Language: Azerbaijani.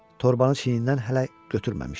Torbanı çiynindən hələ götürməmişdi.